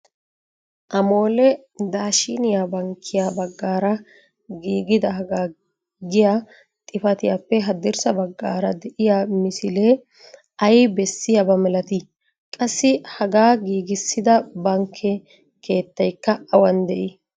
'Amole' daashiniya bankkiyaa baggaara giigidaaga giya xifatiyappe haddirssa baggaara de'iya misilee ay beessiyaaba malatii? qassi haga giigissida bankke keettaykka awan de'ii?